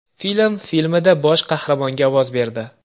Film” filmida bosh qahramonga ovoz berdi.